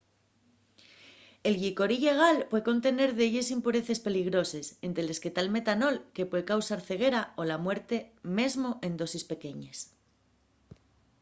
el llicor illegal puede contener delles impureces peligroses ente les que ta’l metanol que puede causar ceguera o la muerte mesmo en dosis pequeñes